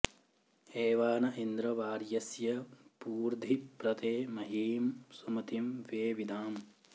एवा न इन्द्र वार्यस्य पूर्धि प्र ते महीं सुमतिं वेविदाम